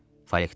Falik dedi.